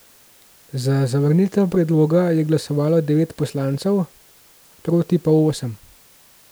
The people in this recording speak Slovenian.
Za zavrnitev predloga je glasovalo devet poslancev, proti pa osem.